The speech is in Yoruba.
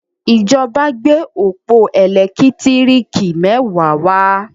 ìjọba gbé ọpọ elekitiriki mẹwa wá.